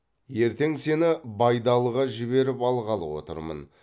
ертең сені байдалыға жіберіп алғалы отырмын